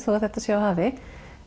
að þetta sé á hafi